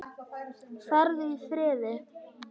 Farðu í friði.